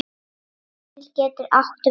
Daníel getur átt við